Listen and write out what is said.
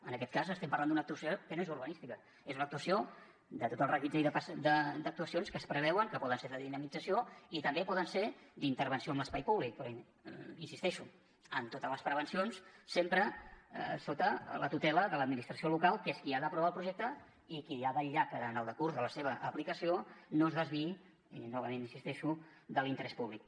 en aquest cas estem parlant d’una actuació que no és urbanística és una actuació de tot el reguitzell d’actuacions que es preveuen que poden ser de dinamització i també poden ser d’intervenció en l’espai públic però hi insisteixo amb totes les prevencions sempre sota la tutela de l’administració local que és qui ha d’aprovar el projecte i qui ha de vetllar en el decurs de la seva aplicació perquè no es desviï i novament hi insisteixo de l’interès públic